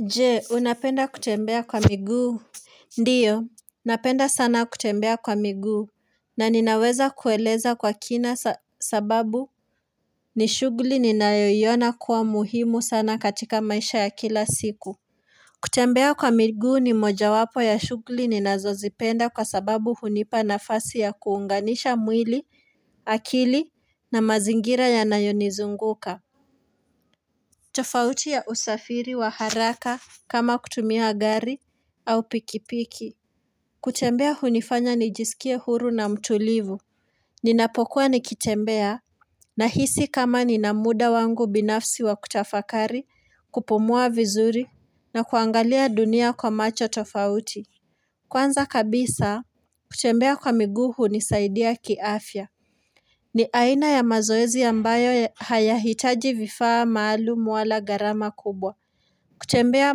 Je unapenda kutembea kwa miguu Ndio Napenda sana kutembea kwa miguu na ninaweza kueleza kwa kina sa sababu ni shugli ninayoiona kuwa muhimu sana katika maisha ya kila siku kutembea kwa miguu ni moja wapo ya shugli ninazozipenda kwa sababu hunipa nafasi ya kuunganisha mwili akili na mazingira ya nayonizunguka tofauti ya usafiri wa haraka kama kutumia gari au pikipiki. Kutembea hunifanya nijiskie huru na mtulivu. Ninapokuwa nikitembea na hisi kama ninamuda wangu binafsi wa kutafakari kupumua vizuri na kuangalia dunia kwa macho tofauti. Kwanza kabisa kutembea kwa miguu hunisaidia kiafya. Ni aina ya mazoezi ambayo hayahitaji vifaa maalum wala gharama kubwa. Kutembea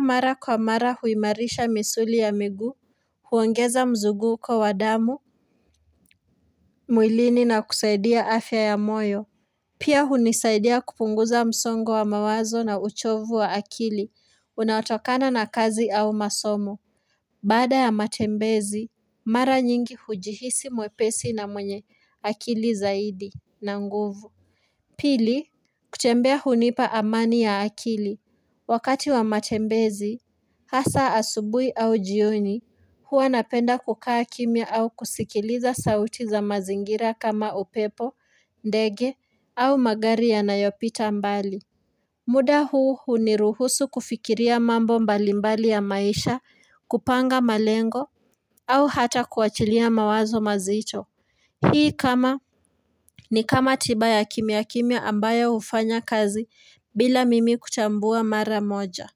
mara kwa mara huimarisha misuli ya miguu, huongeza mzuguko wa wadamu, mwilini na kusaidia afya ya moyo. Pia hunisaidia kupunguza msongo wa mawazo na uchovu wa akili, unaotokana na kazi au masomo. Baada ya matembezi, mara nyingi hujihisi mwepesi na mwenye akili zaidi na nguvu. Pili, kutembea hunipa amani ya akili. Wakati wa matembezi, hasa asubui au jioni, hua napenda kukaa kimya au kusikiliza sauti za mazingira kama upepo, ndege, au magari ya nayopita mbali. Muda huu huniruhusu kufikiria mambo mbalimbali ya maisha, kupanga malengo, au hata kuachilia mawazo mazito. Hii kama ni kama tiba ya kimya kimya ambayo hufanya kazi bila mimi kutambua mara moja.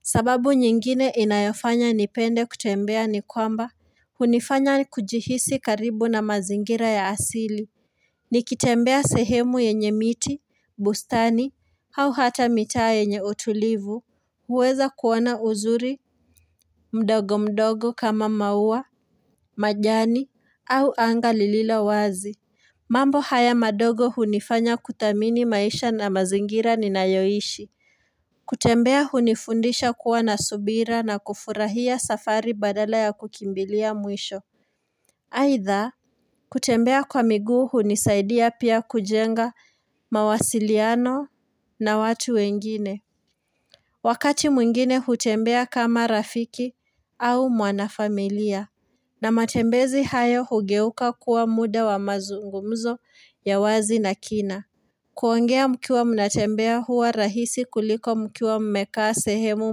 Sababu nyingine inayofanya nipende kutembea ni kwamba hunifanya kujihisi karibu na mazingira ya asili. Nikitembea sehemu yenye miti, bustani au hata mitaa yenye utulivu. Huweza kuona uzuri mdogo mdogo kama maua, majani au anga lililo wazi. Mambo haya madogo hunifanya kuthamini maisha na mazingira ni nayoishi. Kutembea hunifundisha kuwa na subira na kufurahia safari badala ya kukimbilia mwisho. Aidha, kutembea kwa miguu hunisaidia pia kujenga mawasiliano na watu wengine. Wakati mwingine hutembea kama rafiki au mwanafamilia. Na matembezi hayo hugeuka kuwa muda wa mazungumzo ya wazi na kina. Kuongea mkiwa mnatembea huwa rahisi kuliko mkiwa mmekaa sehemu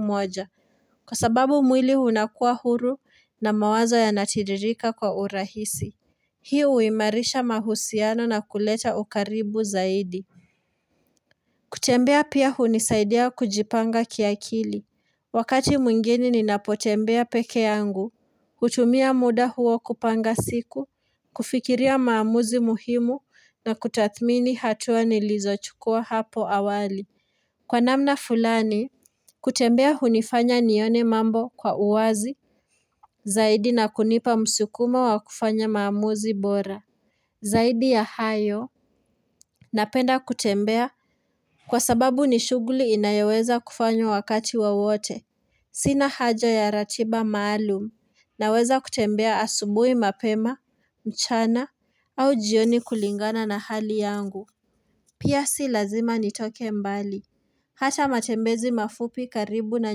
moja. Kwa sababu mwili unakua huru na mawazo yanatiririka kwa urahisi. Hii uimarisha mahusiano na kuleta ukaribu zaidi. Kutembea pia hunisaidia kujipanga kiakili. Wakati mwingini ninapotembea peke yangu. Kutumia muda huo kupanga siku, kufikiria maamuzi muhimu na kutathmini hatua nilizochukua hapo awali Kwa namna fulani, kutembea hunifanya nione mambo kwa uwazi Zaidi na kunipa msukumo wa kufanya maamuzi bora Zaidi ya hayo, napenda kutembea kwa sababu ni shuguli inayoweza kufanywa wakati wowote Sina haja ya ratiba maalum, naweza kutembea asubui mapema, mchana, au jioni kulingana na hali yangu. Pia si lazima nitoke mbali. Hata matembezi mafupi karibu na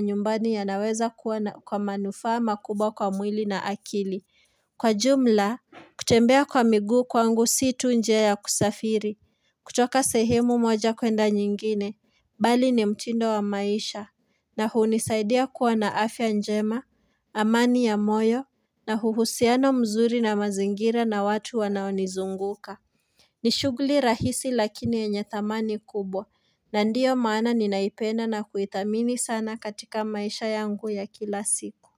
nyumbani ya naweza kuwana kwa manufaa makubwa kwa mwili na akili. Kwa jumla, kutembea kwa miguu kwangu situ njea ya kusafiri. Kutoka sehemu moja kwenda nyingine. Bali ni mtindo wa maisha na hunisaidia kuwa na afya njema, amani ya moyo na huhusiano mzuri na mazingira na watu wanaonizunguka. Nishugli rahisi lakini enye thamani kubwa na ndiyo maana ninaipena na kuithamini sana katika maisha yangu ya kila siku.